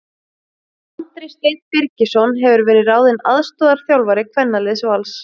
Andri Steinn Birgisson hefur verið ráðinn aðstoðarþjálfari kvennaliðs Vals.